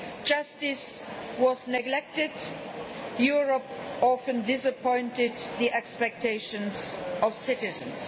Justice was neglected, and Europe often disappointed the expectations of citizens.